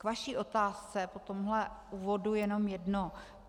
K vaší otázce po tomhle úvodu jenom jedno.